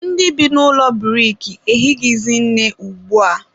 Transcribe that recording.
ndị bi n'ụlọ buriki ehighizi nne ugbua.